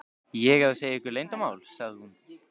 ég að segja ykkur leyndarmál? sagði hún.